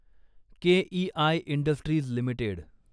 KEI industries limited